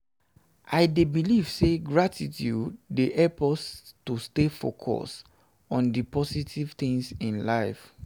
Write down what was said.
i dey believe say gratitude dey help us to focus on di positive things in life.